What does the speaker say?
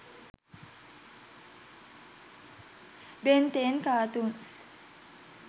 ben 10 cartoons